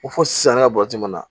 Ko fo sisan ne ka na